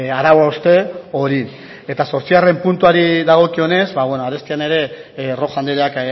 arau hauste hori eta zortzigarren puntuari dagokionez arestian ere rojo andreak